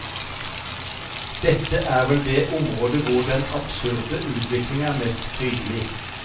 Dette er vel det området hvor den absurde utvikling er mest tydelig.